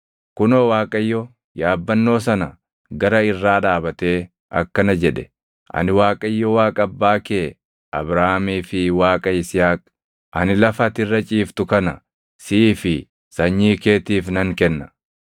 Kunoo Waaqayyo yaabbannoo sana gara irraa dhaabatee akkana jedhe; “Ani Waaqayyo Waaqa abbaa kee Abrahaamii fi Waaqa Yisihaaq; ani lafa ati irra ciiftu kana siif fi sanyii keetiif nan kenna.